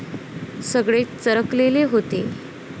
सगळेच चरकलेले होते.